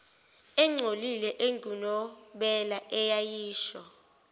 engcolile engunobela eyayisho